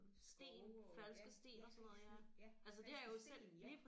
Skove og ja ja sten ja falske sten ja